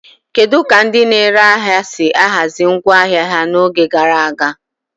Kedu ka ndị na-ere ahịa si ahazi ngwa ahịa ha n'oge gara aga?